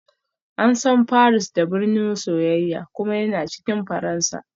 An san Paris da "birnin soyayya" kuma yana cikin Faransa